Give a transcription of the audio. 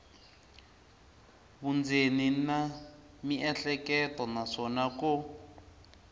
vundzeni na miehleketo naswona ko